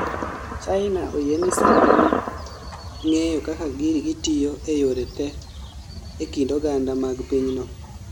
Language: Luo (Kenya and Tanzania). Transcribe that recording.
china oyieni sand gi ng'eyo kaka gitiyo e yore te e kind oganda mag pinyno